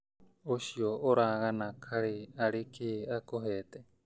ũcio ũragana kaĩ arĩ kĩĩ akũhete